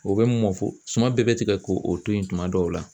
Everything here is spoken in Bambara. O bɛ mɔ fo suman bɛɛ bɛ tigɛ k'o to yen tuma dɔw la